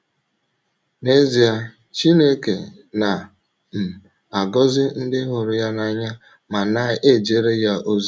N’ezie, Chineke na um - agọzi ndị hụrụ ya n’anya ma na - ejere ya ozi.